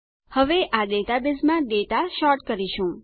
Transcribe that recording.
હવે આ ડેટાબેઝમાં ડેટા સૉર્ટ કરીશું